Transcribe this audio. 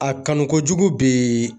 A kanu kojugu bi